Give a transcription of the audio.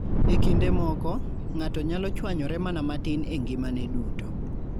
E kinde moko, ng'ato nyalo chwanyore mana matin e ngimane duto.